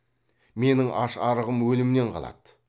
менің аш арығым өлімнен қалады